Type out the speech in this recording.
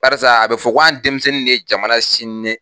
barisa a be fɔ ko an denmisɛnnin de ye jamana sini ɲɛ